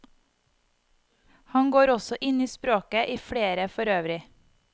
Han går også inn i språket, i flere, for øvrig.